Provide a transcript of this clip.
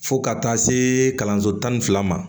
Fo ka taa se kalanso tan ni fila ma